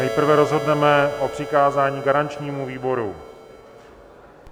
Nejprve rozhodneme o přikázání garančnímu výboru.